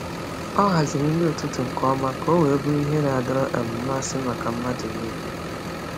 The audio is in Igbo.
Ọ haziri nri ụtụtụ nke ọma ka ọ wee bụrụ ihe na-adọrọ um mmasị maka mmadụ niile.